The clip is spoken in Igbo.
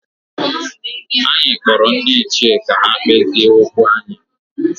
Anyị kpọrọ ndị ichie ka ha kpezie okwu anyị